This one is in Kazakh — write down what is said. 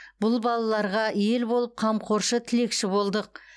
бұл балаларға ел болып қамқоршы тілекші болдық